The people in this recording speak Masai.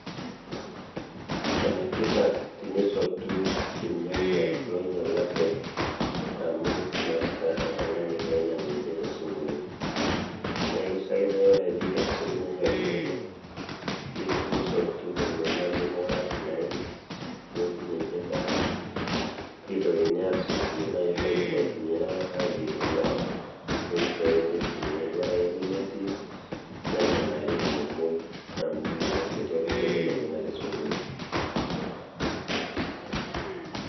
Ene tipat tenisotu irnyanya loinyialate amu meeta oltung'ani oinyiang' ninche tesokoni. Neeku ore pee isotu irnyanya linonok, nilo nisotu lelo laijo meekure aasidain nipik ninche bata, pee eitokini aasotu tenaa ketii loidim aitumia ayierie endaa ninchooyo mitumiae, ore ake pee metii nenang'ari amu metii oltung'ani oidim ainyiang'u tesokoni.